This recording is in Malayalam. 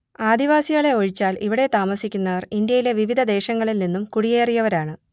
ആദിവാസികളെ ഒഴിച്ചാൽ ഇവിടെ താമസിക്കുന്നവർ ഇന്ത്യയിലെ വിവിധ ദേശങ്ങളിൽ നിന്നും കുടിയേറിയവരാണ്